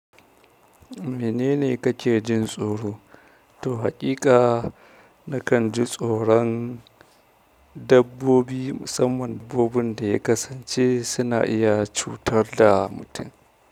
Menene kake jin tsoro? To haƙiƙa nakan ji tsoron dabbobi musamman dabbobin da ya kasance suna iya cutar da mutum.